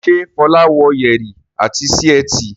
Ṣe Fola wò Yẹrí etí sí etí?